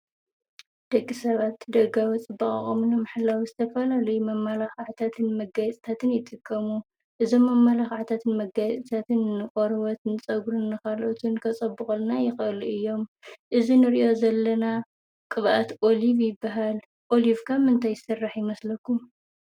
ደጊ ሰባት ደጋወጽ ብቓቐምኒ ምሕላው ስተፋልሉይ መማላኽ ዓዕታትን መጋይጽተትን ይጥቀሙ እዝ መመላኽ ዕታትን መጋይጽተትን ቖርወት ንጸጕርን ኻልኦትን ከጸብቕልና ይኸእሉ እዮም እዝ ንርእዮ ዘለና ቕብኣት ኦልብ ይበሃል ኦልፍካም እንተይሠራሕ ይመስለኩም?